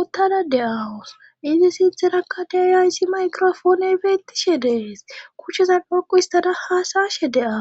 uttada de7aawus izi sintherakka daariyayssi maykrofooney fe ettishe dees kucheza dhaqu istada haasaashe de7awu.